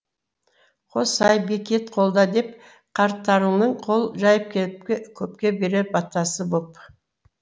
қосай бекет қолда деп қарттарыңның қол жайып көпке берер батасы боп